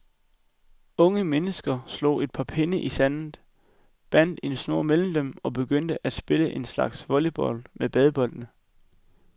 Unge mennesker slog et par pinde i sandet, bandt en snor mellem dem og begyndte at spille en slags volleybold med badebolde.